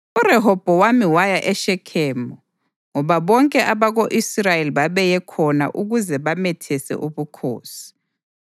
URehobhowami waya eShekhemu ngoba bonke abako-Israyeli babeye khona ukuze bamethese ubukhosi.